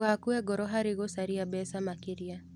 Ndũgakue ngoro harĩ gũcaria mbeca makĩria.